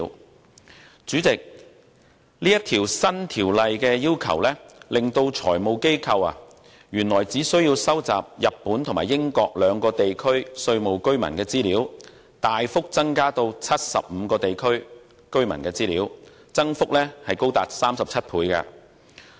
代理主席，《條例草案》的要求，令財務機構由原來只須收集日本和英國兩個地區稅務居民的資料，大幅增加至75個地區居民的資料，增幅高達37倍。